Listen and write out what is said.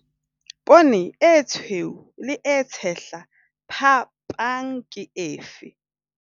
Poone e tshweu le e tshehla - phapang ke efe?